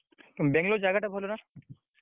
ବାଙ୍ଗଲୋର ଜାଗାଟା ଭଲ ନା?